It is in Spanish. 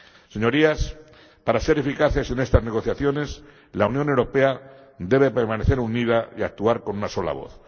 Señorías, para ser eficaces en estas negociaciones, la Unión Europea debe permanecer unida y actuar con una sola voz.